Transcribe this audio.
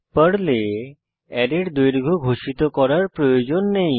পর্লে অ্যারের দৈর্ঘ্য ঘোষিত করার প্রয়োজন নেই